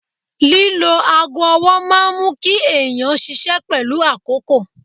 Lílo aago ọwọ́ máa mú kí èèyàn ṣiṣẹ́ pẹ̀lú àkókò